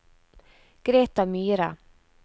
Greta Myhre